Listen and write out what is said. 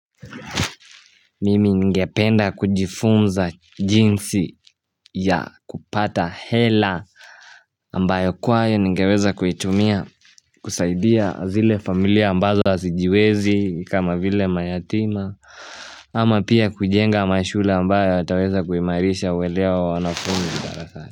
Mimi ngependa kujifunza jinsi ya kupata hela ambayo kwayo ningeweza kuitumia kusaidia zile familia ambazo asijiwezi kama vile mayatima. Ama pia kujenga mashule ambayo yataweza kuimairisha uwedhea wa wanafunzi darasani.